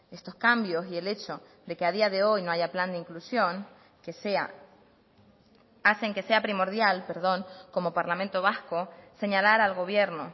estos cambios y el hecho de que a día de hoy no haya plan de inclusión que sea hacen que sea primordial perdón como parlamento vasco señalar al gobierno